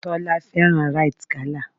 Tọ́lání fẹ́ràn Rite gala.